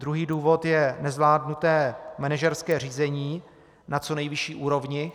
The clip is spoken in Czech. Druhý důvod je nezvládnuté manažerské řízení na co nejvyšší úrovni.